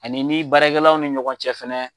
Ani ni baarakɛlaw ni ɲɔgɔn cɛ fɛnɛ.